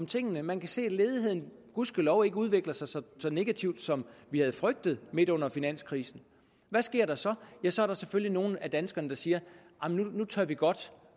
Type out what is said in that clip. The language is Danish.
tingene man kan se at ledigheden gudskelov ikke udvikler sig så negativt som vi havde frygtet midt under finanskrisen og hvad sker der så ja så er der selvfølgelig nogle af danskerne der siger at nu tør de godt